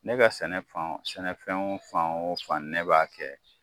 Ne ka sɛnɛ fanw, sɛnɛ fɛn fan wo fan ne b'a kɛ